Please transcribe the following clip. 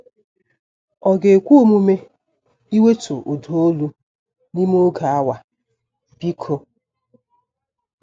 Ọ ga-ekwe omume iwetu ụda olu n'ime oge awa, biko?